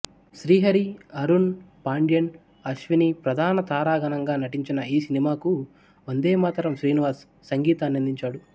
శ్రీహరి అరుణ్ పాండ్యన్ అశ్విని ప్రధాన తారాగణంగా నటించిన ఈ సినిమాకు వందేమాతరం శ్రీనివాస్ సంగీతాన్నందించాడు